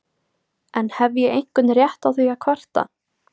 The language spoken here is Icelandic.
En hef ég einhvern rétt á því að kvarta?